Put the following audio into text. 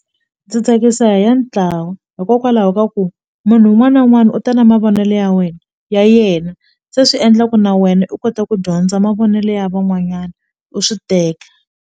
Ndzi tsakisa hi ya ntlawa hikokwalaho ka ku munhu un'wana na un'wana u ta na mavonelo ya wena ya yena se swi endla ku na wena u kote ku dyondza mavonelo ya van'wanyana u swi teka.